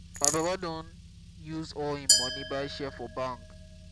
my papa don use all im moni buy share for bank.